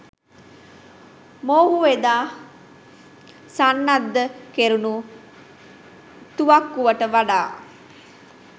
මොහුව එදා සන්නද්ධ කෙරුණු තුවක්කුවට වඩා